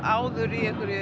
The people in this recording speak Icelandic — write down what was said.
áður